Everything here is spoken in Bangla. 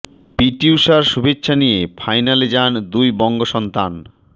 পি টি উষার শুভেচ্ছা নিয়ে ফাইনালে যান দুই বঙ্গসন্তান